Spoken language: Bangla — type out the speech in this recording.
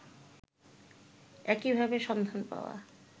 একই ভাবে সন্ধান পাওয়া